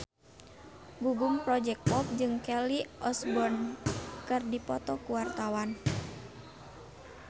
Gugum Project Pop jeung Kelly Osbourne keur dipoto ku wartawan